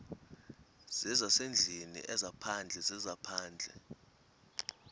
zezasendlwini ezaphandle zezaphandle